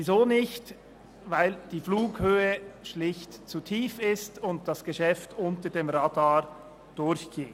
Die Flughöhe ist schlicht zu tief, das Geschäft fliegt unter dem Radar durch.